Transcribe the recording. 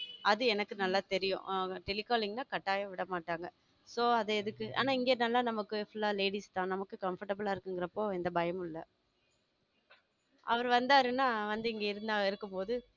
அது எனக்கு நல்லா தெரியும் ஆம telecalling ன்னா கட்டாயம் விட மாட்டாங்க so அது எதுக்கு ஆனா இங்க நல்லா நமக்கு full ladies தான் நமக்கு comfortable ஆ இருக்குங்குறப்பும் எந்த பயமும் இல்ல அவரு வந்தாருன்னா வந்து இங்கே இருந்து இருக்கும்போது